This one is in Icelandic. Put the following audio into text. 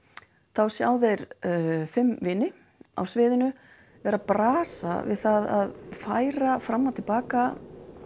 þá sjá þeir fimm vini á sviðinu vera að brasa við það að færa fram og til baka